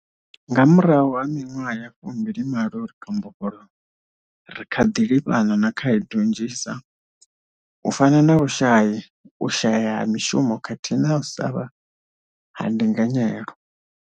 Nga murahu ha miṅwaha ya fumbili malo ri kha mbofholowo, ri kha ḓi livhana na khaedu nnzhisa, u fana na vhushai, u shaea ha mishumo khathihi na u savha ha ndinganyelo.